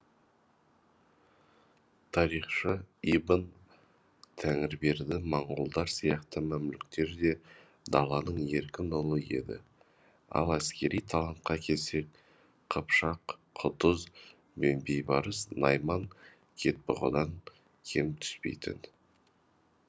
тарихшы ибн тәңірберді моңғолдар сияқты мәмлүктер де даланың еркін ұлы еді ал әскери талантқа келсек қыпшақ құтыз бен бейбарыс найман кетбұғадан кем түспейтін